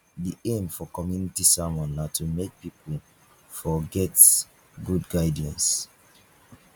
di aim for community sermon na to make pipo for get good guidance